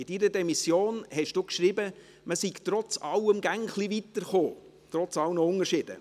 In Ihrer Demission haben Sie geschrieben, man sei trotz allem immer etwas weitergekommen, trotz aller Unterschiede.